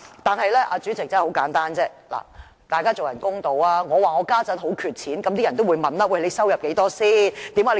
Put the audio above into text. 但是，主席，大家要公道一點，我說現在很缺錢，人們就會問："你有多少收入？